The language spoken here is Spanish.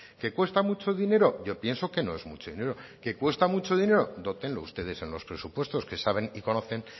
que cuesta mucho dinero yo pienso que no es mucho dinero que cuesta mucho dinero dótenlo ustedes en los presupuestos que saben y conocen